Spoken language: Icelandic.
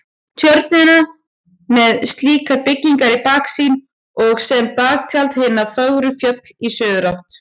Tjörnina með slíkar byggingar í baksýn og sem baktjald hin fögru fjöll í suðurátt.